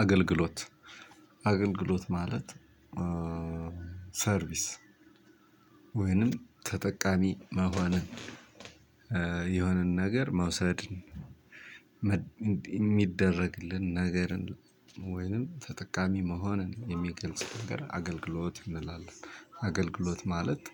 አገልግሎት አገልግሎት ማለት ሰርቪስ ወይንም ተጠቃሚ መሆንን የሆነን ነገር መውሰድ። ሚደረግልን ነገርን ተጠቃሚ መሆንን የሚገልጽ ነገር አገልግሎት እንላለን አገልግሎ ማለት